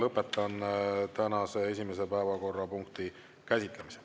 Lõpetan tänase esimese päevakorrapunkti käsitlemise.